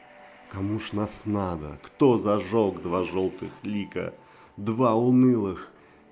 кому ж нас надо кто зажёг два жёлтых лика два унылых